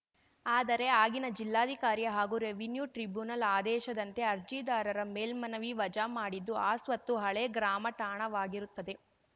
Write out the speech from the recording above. ಆದರೆ ಆಗಿನ ಜಿಲ್ಲಾಧಿಕಾರಿ ಹಾಗೂ ರೆವಿನ್ಯೂ ಟ್ರಿಬುನಲ್‌ ಆದೇಶದಂತೆ ಅರ್ಜಿದಾರರ ಮೇಲ್ಮನವಿ ವಜಾ ಮಾಡಿದ್ದು ಆ ಸ್ವತ್ತು ಹಳೆ ಗ್ರಾಮಠಾಣವಾಗಿರುತ್ತದೆ